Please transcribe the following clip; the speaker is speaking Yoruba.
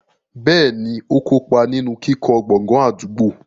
Bẹ́ẹ̀ni, ó kó pa ninu kíkọ́ gbọ̀ngàn àdúgbò.